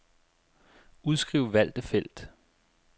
Udskriv valgte felt.